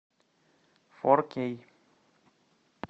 фор кей